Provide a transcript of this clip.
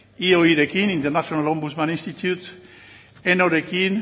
ioi rekin international ombudsman institute eno rekin